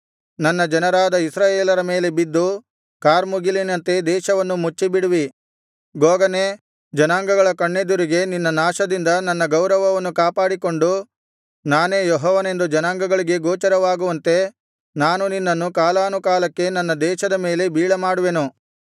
ನನ್ನ ಜನರಾದ ಇಸ್ರಾಯೇಲರ ಮೇಲೆ ಬಿದ್ದು ಕಾರ್ಮುಗಿಲಿನಂತೆ ದೇಶವನ್ನು ಮುಚ್ಚಿಬಿಡುವಿ ಗೋಗನೇ ಜನಾಂಗಗಳ ಕಣ್ಣೆದುರಿಗೆ ನಿನ್ನ ನಾಶದಿಂದ ನನ್ನ ಗೌರವವನ್ನು ಕಾಪಾಡಿಕೊಂಡು ನಾನೇ ಯೆಹೋವನೆಂದು ಜನಾಂಗಗಳಿಗೆ ಗೋಚರವಾಗುವಂತೆ ನಾನು ನಿನ್ನನ್ನು ಕಾಲಾನುಕಾಲಕ್ಕೆ ನನ್ನ ದೇಶದ ಮೇಲೆ ಬೀಳಮಾಡುವೆನು